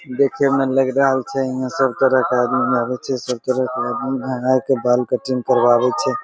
देखे मे लएग रहल छै यहां सब तरह के आदमी आवे छै सब तरह के आदमी यहां आ के बाल कटिंग करबावे छै।